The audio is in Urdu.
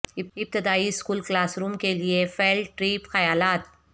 ابتدائی اسکول کلاس روم کے لئے فیلڈ ٹریپ خیالات